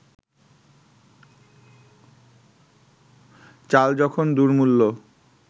চাল যখন দুর্মূল্য